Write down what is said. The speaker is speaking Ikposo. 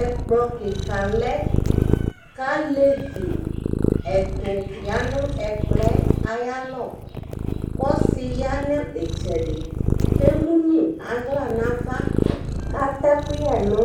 Ɛkplɔ kɩka lɛ kʋ alevi ɛtʋ ya nʋ ɛkplɔ yɛ ayalɔ kʋ ɔsɩ ya nʋ ɩtsɛdɩ kʋ emu nʋ aɣla nʋ ava kʋ atɛ ɛkʋyɛ nʋ